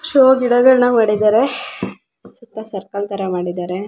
Show ಗಿಡಗಳ್ನ ಮಾಡಿದ್ದಾರೆ ಸೂಕ್ತ ಸರ್ಕಲ್ ತರ ಮಾಡಿದ್ದಾರೆ.